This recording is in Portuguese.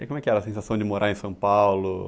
E como é que era a sensação de morar em São Paulo?